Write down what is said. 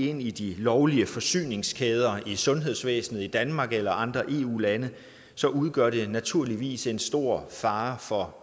ind i de lovlige forsyningskæder i sundhedsvæsenet i danmark eller andre eu lande så udgør det naturligvis en stor fare for